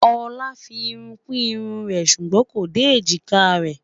olá fí irún kù irún rè sùgbón kò dé ejika rè